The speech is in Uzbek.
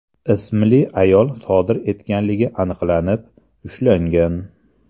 ismli ayol sodir etganligi aniqlanib, ushlangan.